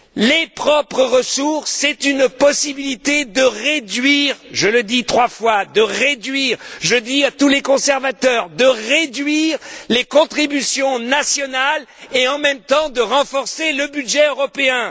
Les ressources propres constituent une possibilité de réduire je le dis trois fois de réduire je le dis à tous les conservateurs de réduire les contributions nationales et, en même temps, de renforcer le budget européen.